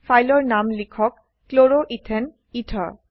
ফাইলৰ নাম লিখক chloroethane এথেৰ